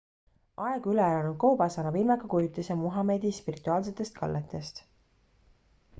aegu üle elanud koobas annab ilmeka kujutise muhamedi spirituaalsetest kalletest